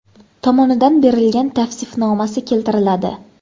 tomonidan berilgan tavsifnomasi keltiriladi.